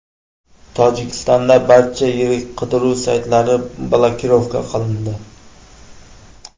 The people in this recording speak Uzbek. Tojikistonda barcha yirik qidiruv saytlari blokirovka qilindi.